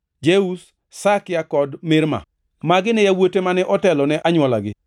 Jeuz, Sakia kod Mirma. Magi ne yawuote mane otelo ne anywolagi.